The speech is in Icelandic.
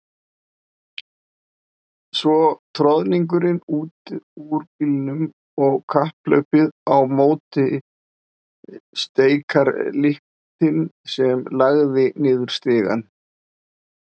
Svo troðningurinn út úr bílnum og kapphlaupið á móti steikarlyktinni sem lagði niður stigana.